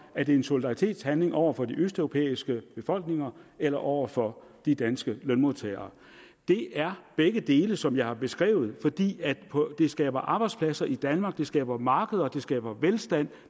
er det en solidaritetshandling over for de østeuropæiske befolkninger eller over for de danske lønmodtagere det er begge dele som jeg har beskrevet fordi det skaber arbejdspladser i danmark det skaber markeder det skaber velstand